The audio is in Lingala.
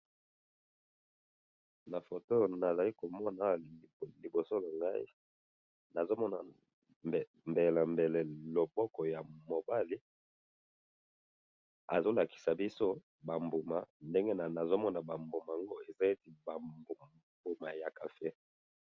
Na photo Oyo nazali komona Awa liboso na Ngai. Nazomona mbele na mbele loboko ya mobali. Azo lakisa biso ba mbuma. Ndenge nazomona ba mbuma ango eza neti ba mbuma ya café